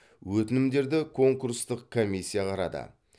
өтінімдерді конкурстық комиссия қарады